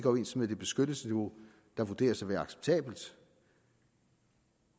overens med det beskyttelsesniveau der vurderes at være acceptabelt